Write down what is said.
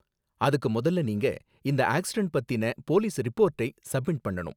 அதுக்கு, முதல்ல நீங்க அந்த ஆக்சிடென்ட் பத்தின போலீஸ் ரிப்போர்டை சப்மிட் பண்ணனும்.